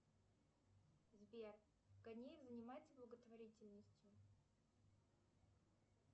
сбер канеев занимается благотворительностью